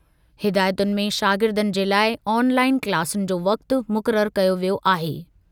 हिदायतुनि में शागिर्दनि जे लाइ ऑनलाइन क्लासुनि जो वक़्ति मुक़रर कयो वियो आहे।